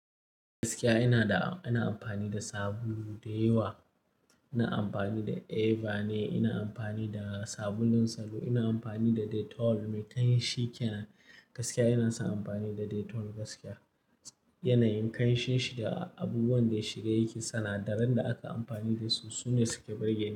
Gaskiya ina da, ina amfani da sabulu da yawa. Ina amfani da Eva ne, ina amfani da sabulun salo, ina amfani da Dettol me kanshi kenan. Gaskiya ina san amfani da Dettol gaskiya. Yanayin kanshin shi da abubuwan da ya shiga yake, sinadaran da aka amfani da su sune suke burge ni.